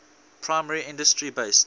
primary industry based